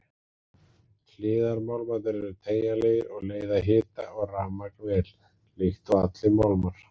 Hliðarmálmarnir eru teygjanlegir og leiða hita og rafmagn vel, líkt og allir málmar.